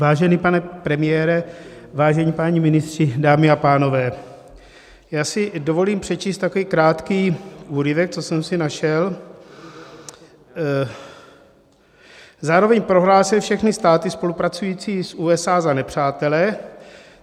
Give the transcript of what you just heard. Vážený pane premiére, vážení páni ministři, dámy a pánové, já si dovolím přečíst takový krátký úryvek, co jsem si našel: "Zároveň prohlásil všechny státy spolupracující s USA za nepřátele.